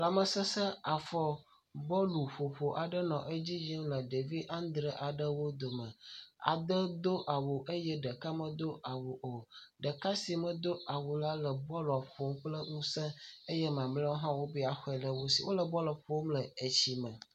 Lamese afɔbɔluƒoƒo aɖe nɔ edzi yim le ɖevi adre aɖewo dome. Ade do awu eye ɖeka medo awu o. Ɖeka si medo awu o la le bɔlua ƒom kple ŋuse eye mamleawo hã wobe yeaxɔe le wo si. Wole bɔlua ƒom le etsi me.